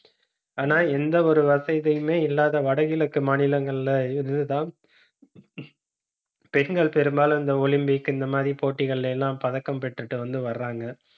ஆனா, எந்த ஒரு வசதியுமே இல்லாத, வடகிழக்கு மாநிலங்கள்ல இருந்துதான் பெண்கள் பெரும்பாலும், இந்த olympic இந்த மாதிரி போட்டிகள்ல எல்லாம், பதக்கம் பெற்றுட்டு வந்து வர்றாங்க